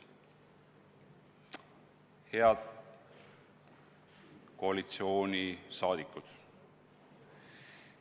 Head koalitsioonisaadikud!